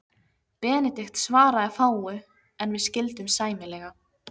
Benedikt svaraði fáu, en við skildum sæmilega.